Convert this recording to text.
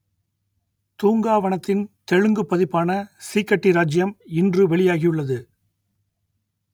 தூங்கா வனத்தின் தெலுங்குப் பதிப்பான சீக்கட்டி ராஜ்ஜியம் இன்று வெளியாகியுள்ளது